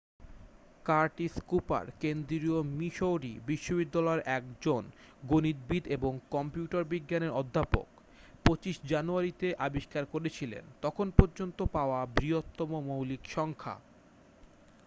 Curtis Cooper কেন্দ্রীয় Missouri বিশ্ববিদ্যালয়ের একজন গণিতবিদ এবং কম্পিউটার বিজ্ঞানের অধ্যাপক 25 জানুয়ারিতে আবিষ্কার করেছিলেন তখন পর্যন্ত পাওয়া বৃহত্তম মৌলিক সংখ্যা